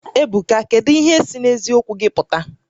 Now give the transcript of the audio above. Ebuka kedu ihe si n'eziokwu gị pụta?